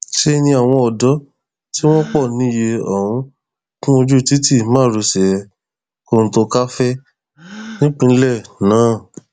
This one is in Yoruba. ṣe ni àwọn ọdọ tí wọn pọ níye ọhún kún ojú títí márosẹ kọtòńkàràfẹ nípìnlẹ náà